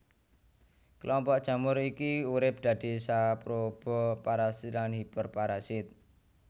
Kelompok jamur iki urip dadi saproba parasit lan hiperparasit